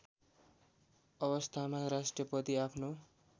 अवस्थामा राष्ट्रपति आफ्नो